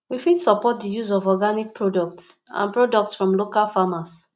we fit support di use of organic products and products from local farmers